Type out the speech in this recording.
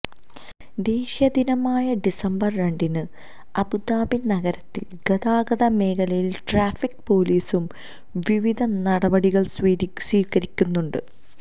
ദേശീയ ദിനമായ ഡിസംബര് രണ്ടിന് അബുദാബി നഗരത്തില് ഗതാഗത മേഖലയില് ട്രാഫിക് പോലീസും വിവിധ നടപടികള് സ്വീകരിക്കുന്നുണ്ട്